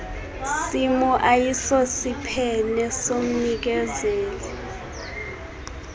simo ayisosiphene somnikezeli